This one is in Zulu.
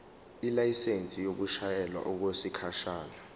ilayisensi yokushayela okwesikhashana